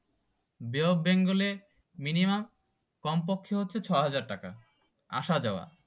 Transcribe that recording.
বে of Bengal এর minimum কমপক্ষে হচ্ছে ছয়হাজার টাকা আসা যাওয়া